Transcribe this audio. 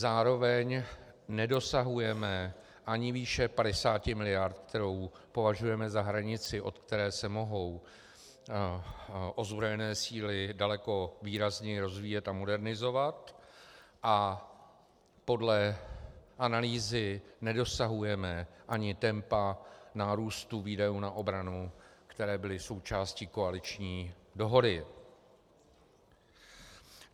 Zároveň nedosahujeme ani výše 50 miliard, kterou považujeme za hranici, od které se mohou ozbrojené síly daleko výrazněji rozvíjet a modernizovat, a podle analýzy nedosahujeme ani tempa nárůstu výdajů na obranu, které byly součástí koaliční dohody.